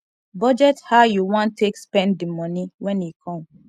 budget how you want take spend the money when e come